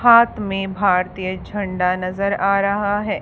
हात में भारतीय झंडा नजर आ रहा है।